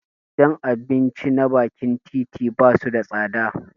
Gidan abinci na bakin titi basu da tsada